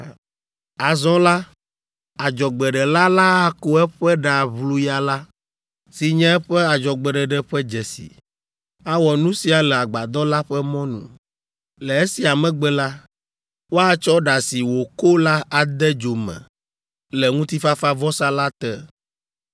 “ ‘Azɔ la, adzɔgbeɖela la ako eƒe ɖa ʋluya la, si nye eƒe adzɔgbeɖeɖe ƒe dzesi. Awɔ nu sia le agbadɔ la ƒe mɔnu. Le esia megbe la, woatsɔ ɖa si wòko la ade dzo me le ŋutifafavɔsa la te.